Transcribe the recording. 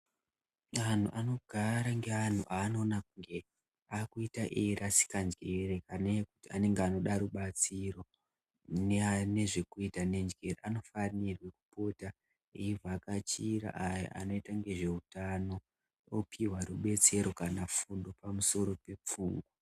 Anhu ano gare nge anhu anoona kunge akuita eyi rasika njere anenge anoda rubatsiro ne zvekuita ne njere anofanirwe kupota eyi vhakachira ayo anoita ngezve utano opihwa rubetsero kana fundo pamusoro pe pfungwa.